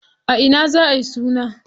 A ina za ayi suna?